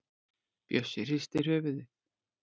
Bjössi hristir höfuðið.